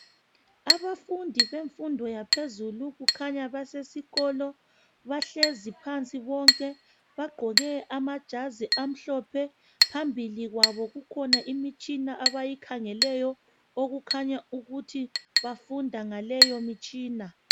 Abafundi bemfundo yaphezulu kukhanya basesikolo bahlezi phansi bonke bagqoke amajazi amhlophe phambili kwabo kukhona imitshina abayikhangeleyo okukhanya ukuthi abafunda ngaleyo mitshina